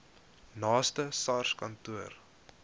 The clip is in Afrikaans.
naaste sars kantoor